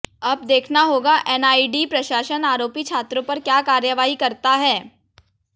अब देखना होगा एनआईडी प्रशासन आरोपी छात्रों पर क्या कार्रवाई करता है